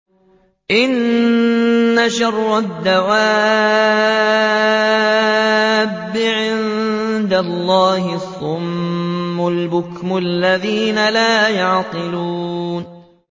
۞ إِنَّ شَرَّ الدَّوَابِّ عِندَ اللَّهِ الصُّمُّ الْبُكْمُ الَّذِينَ لَا يَعْقِلُونَ